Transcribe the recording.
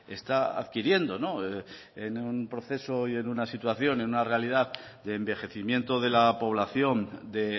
está adquiriendo en un proceso y en una situación en una realidad de envejecimiento de la población de